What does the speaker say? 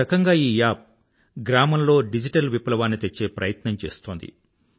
ఒక రకంగా ఈ యాప్ గ్రామంలో డిజిటల్ విప్లవాన్ని తేచ్చే ప్రయత్నం చేస్తోంది